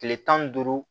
Tile tan ni duuru